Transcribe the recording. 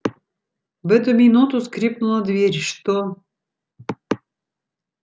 в эту минуту скрипнула дверь что